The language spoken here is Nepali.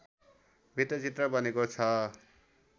वृत्तचित्र बनेको छ